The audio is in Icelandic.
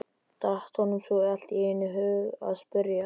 datt honum svo allt í einu í hug að spyrja.